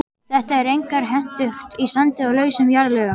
Þetta er einkar hentugt í sandi og lausum jarðlögum.